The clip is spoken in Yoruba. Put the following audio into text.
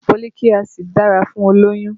Foliiki Acid dára fún olóyún